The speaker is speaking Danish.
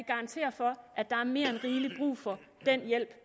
garantere for at der er mere end rigelig brug for den hjælp